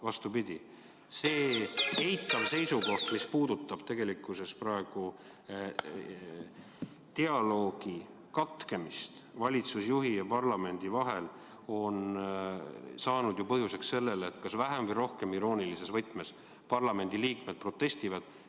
Vastupidi, see eitav seisukoht, mis puudutab praegu dialoogi katkemist valitsusjuhi ja parlamendi vahel, on saanud põhjuseks sellele, et kas vähem või rohkem iroonilises võtmes parlamendiliikmed protestivad.